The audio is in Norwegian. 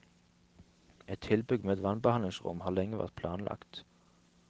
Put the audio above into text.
Et tilbygg med vannbehandlingsrom har lenge vært planlagt.